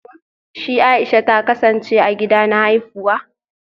Shi Aisha ta kasance a gida na haifuwa